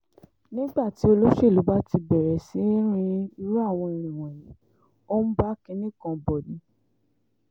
nígbà tí olóṣèlú bá ti bẹ̀rẹ̀ sí í rin irú àwọn irin wọ̀nyí ó ń bá kinní kan bọ̀ ni